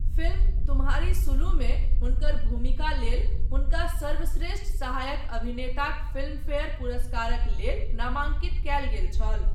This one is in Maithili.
फिल्म तुम्हारी सुलुमे हुनकर भूमिका लेल हुनका सर्वश्रेष्ठ सहायक अभिनेताक फिल्मफेयर पुरस्कारक लेल नामांकित कयल गेल छल।